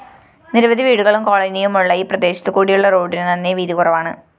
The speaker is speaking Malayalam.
നിരവധി വീടുകളും കോളനിയുമുള്ള ഈ പ്രദേശത്തു കൂടിയുള്ള റോഡിനു നന്നേവീതികുറവാണ്